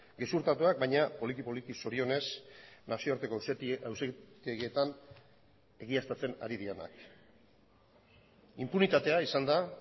gezurtatuak baina poliki poliki zorionez nazioarteko auzitegietan egiaztatzen ari direnak inpunitatea izan da